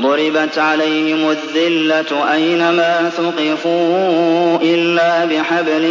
ضُرِبَتْ عَلَيْهِمُ الذِّلَّةُ أَيْنَ مَا ثُقِفُوا إِلَّا بِحَبْلٍ